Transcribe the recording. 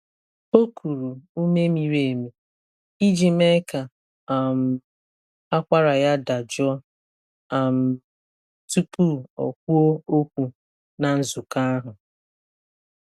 O kuru ume miri emi iji mee ka um akwara ya dajụọ um tupu ọ kwuo okwu na nzukọ ahụ.